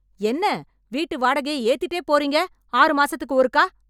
என்ன வீட்டு வாடகைய ஏத்திட்டே போறீங்க ஆறு மாசத்துக்கு ஒருக்கா